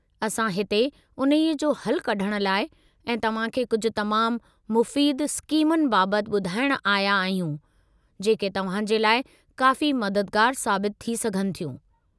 असां हिते उन्हीअ जो हलु कढण लाइ ऐं तव्हां खे कुझु तमामु मुफ़ीद स्कीमुनि बाबति ॿुधाइणु आया आहियूं, जेके तव्हां जे लाइ काफ़ी मददगारु साबितु थी सघनि थियूं।